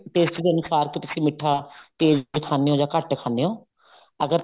taste ਦੇ ਅਨੁਸਾਰ ਅਸੀਂ ਮਿੱਠਾ ਤੇਜ਼ ਖਾਣੇ ਹੋ ਜਾਂ ਘੱਟ ਖਾਣੇ ਹੋ ਅਗਰ